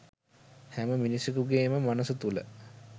හැම මිනිසෙකුගේම මනස තුල